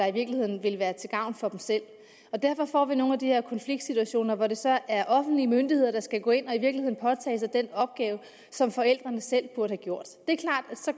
i virkeligheden vil være til gavn for dem selv derfor får vi nogle af de her konfliktsituationer hvor det så er de offentlige myndigheder der skal gå ind og påtage sig den opgave som forældrene selv burde